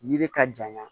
Yiri ka janɲa